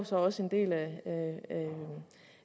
så også en del af